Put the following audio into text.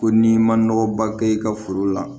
Ko n'i ma nɔgɔ ba kɛ i ka foro la